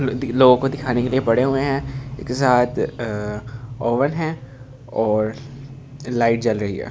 लोगों को दिखाने के लिए बड़े हुए हैं एक साथ अ ओवन है और लाइट जल रही है।